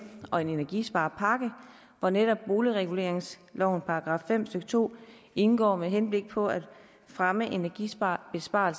og en energisparepakke hvor netop boligreguleringslovens § fem stykke to indgår med henblik på at fremme energibesparelser